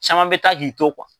Caman bɛ taak'i to.